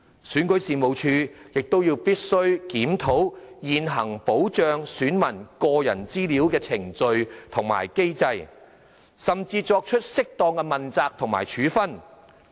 選舉事務處亦必須檢討現行保障選民個人資料的程序和機制，甚至作出適當的問責和處分。